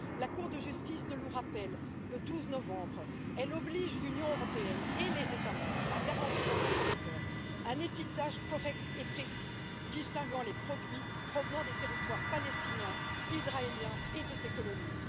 La Cour de justice nous le rappelle le 12 novembre, elle oblige l'Union européenne et les États membres à garantir au consommateur un étiquetage correct et précis, distinguant les produits provenant des territoires palestiniens, ou israéliens, ou de ses colonies.